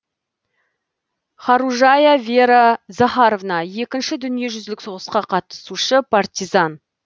хоружая вера захаровна екінші дүниежүзілік соғысқа қатысушы партизан